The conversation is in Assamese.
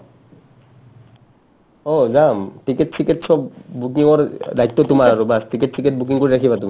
অ, যাম ticket চিকেট চব booking ৰ দায়িত্ব তোমাৰ আৰু baas ticket চিকেট booking কৰি ৰাখিবা তুমি